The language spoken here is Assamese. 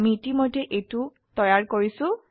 আমি ইতিমধ্যে এইটো তৈয়াৰ কৰিছো